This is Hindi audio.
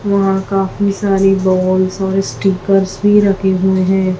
वहा काफी सारी बॉल्स और स्टीकर भी रखे हुए है।